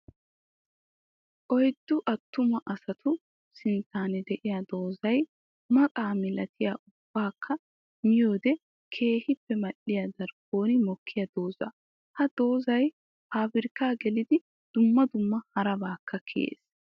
Oyddu attuma asatu sinttan de'iya doozzay maqa milatiya ubbakka miyoode keehippe mali'iya darkkon mokiya doozza. Ha doozzay paabirkka gelidi dumma dumma harabaakka kiyees.